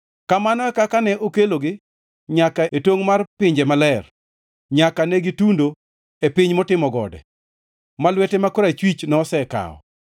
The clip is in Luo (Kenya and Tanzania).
Kamano e kaka ne okelogi nyaka e tongʼ mar pinje maler, nyaka ne gitundo e piny motimo gode, ma lwete ma korachwich nosekawo.